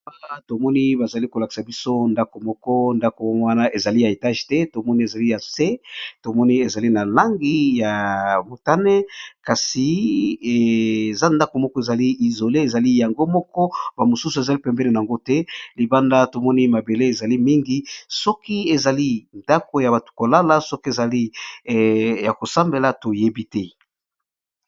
Awa tomoni bazolakisa biso ndako moko eza ya étage te tomoni eza ya se ,tomoni ezali na langi ya motane kasi eza ndako moko ezali isolé ezali yango moko bamosusu ezali bembeni nayango te libanda tomoni mabele ezali mingi sokî ezali ndako yabato KO lala sokî ya kosambela toyebi te.